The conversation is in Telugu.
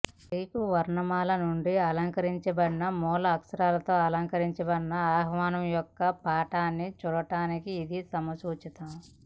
గ్రీకు వర్ణమాల నుండి అలంకరించబడిన మూల అక్షరాలతో అలంకరించబడిన ఆహ్వానం యొక్క పాఠాన్ని చూడడానికి ఇది సముచితం